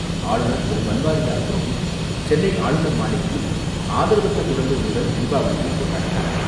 ஆளுநர் திரு பன்வாரிலால் புரோஹித், சென்னை ஆளுநர் மாளிகையில் ஆதரவற்ற குழந்தைகளுடன் தீபாவளியைக் கொண்டாடினார்.